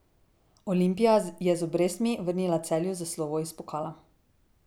Olimpija je z obrestmi vrnila Celju za slovo iz pokala.